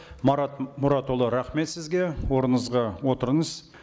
марат мұратұлы рахмет сізге орныңызға отырыңыз